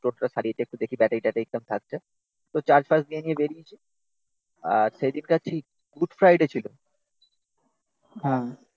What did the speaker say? টোটোটা সারিয়েছে, একটু দেখি তো চার্জ ফার্জ নিয়ে বেরিয়েছে আর সেদিকটা ঠিক গুড ফ্রাইডে ছিল